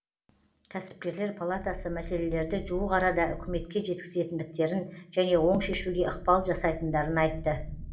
кәсіпкерлер палатасы мәселелерді жуық арада үкіметке жеткізетіндіктерін және оң шешуге ықпал жасайтындарын айтты